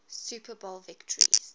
super bowl victories